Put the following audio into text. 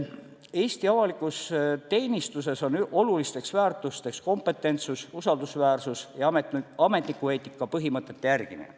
Eesti avalikus teenistuses on olulisteks väärtusteks kompetentsus, usaldusväärsus ja ametnikueetika põhimõtete järgimine.